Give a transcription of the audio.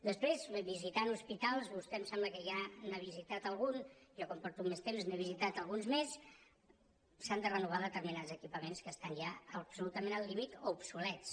després visitant hospitals vostè em sembla que ja n’ha visitat algun jo com que porto més temps n’he visitat alguns més s’han de renovar determinats equipaments que estan ja absolutament al límit o obsolets